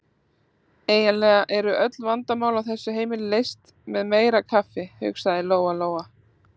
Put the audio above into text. Eiginlega eru öll vandamál á þessu heimili leyst með meira kaffi, hugsaði Lóa-Lóa.